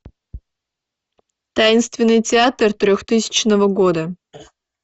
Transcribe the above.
таинственный театр трехтысячного года